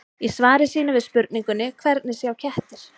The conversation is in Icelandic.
Í svari sínu við spurningunni Hvernig sjá kettir?